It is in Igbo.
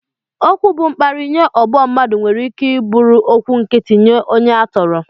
Okwu bụ mkparị nye ọgbọ mmadụ nwere ike bụrụ okwu nkịtị nye onye a tọrọ